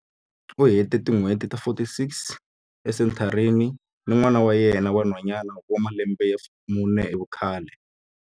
U hete tin'hweti ta 46 esenthareni ni n'wana wa yena wa nhwanyana wa malembe ya mune hi vukhale.